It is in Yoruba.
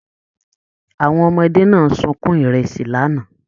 Àwọn ọmọdé náà sunkún ìrẹsì l'ana.